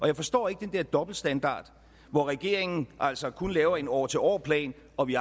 jeg forstår ikke den her dobbeltstandard hvor regeringen altså kun laver en år til år plan og vi